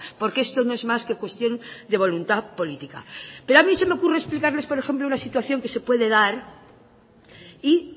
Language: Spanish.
porque esto no es más que cuestión de voluntad política pero a mí se me ocurre explicarles por ejemplo una situación que se puede dar y